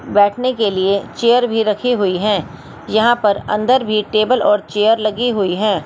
बैठने के लिए चेयर भी रखी हुई हैं यहां पर अंदर भी टेबल और चेयर लगी हुई है।